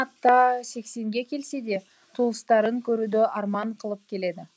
ата сексенге келсе де туыстарын көруді арман қылып келеді